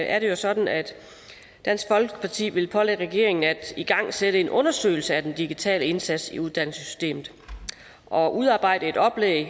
er det jo sådan at dansk folkeparti vil pålægge regeringen at igangsætte en undersøgelse af den digitale indsats i uddannelsessystemet og udarbejde et oplæg